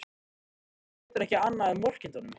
Svenni getur ekki annað en vorkennt honum.